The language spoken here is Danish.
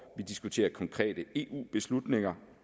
vi diskuterer konkrete eu beslutninger